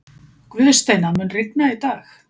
Guðsteina, mun rigna í dag?